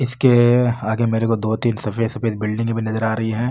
इसके आगे मेरे को दो तीन सफेद सफेद बिलडिंग भी नजर आ रही है।